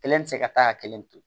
Kelen tɛ se ka taa ka kelen to